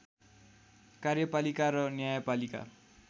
कार्यपालिका र न्यायपालिका